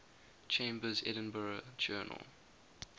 chambers's edinburgh journal